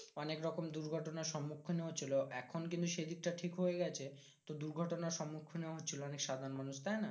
অনেক রকম দুর্ঘটনা সম্মুখীন হচ্ছিলো এখন কিন্তু সে দিকটা ঠিক হয়ে গেছে। তো দুর্ঘটনার সম্মুখীন হচ্ছিলো অনেক সাধারণ মানুষ, তাই না?